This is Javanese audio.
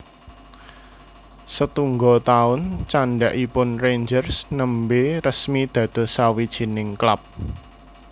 Setungga taun candhakipun Rangers nembè resmi dados sawijining klub